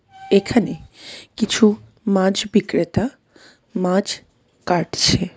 এখানে কিছু মাছ বিক্রেতা মাছ কাটছে.